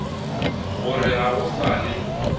gore ga go sa le